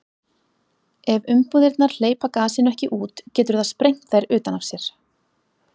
Ef umbúðirnar hleypa gasinu ekki út getur það sprengt þær utan af sér.